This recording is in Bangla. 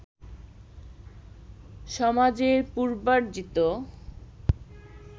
সমাজের পূর্বার্জিত